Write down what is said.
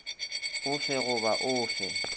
o fe goba o fe